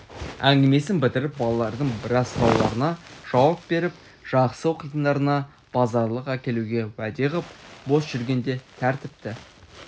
әңгімесін бітіріп балалардың біраз сұрауларына жауап беріп жақсы оқитындарына базарлық әкелуге уәде ғып бос жүргенде тәртіпті